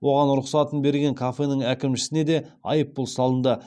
оған рұқсатын берген кафенің әкімшісіне де айыппұл салынды